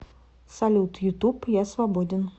салют ютуб я свободен